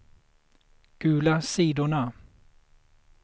gula sidorna